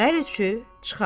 Hər üçü çıxar.